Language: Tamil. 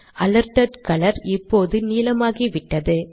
அலர்ட்டட் கலர் இப்போது நீலமாகிவிட்டது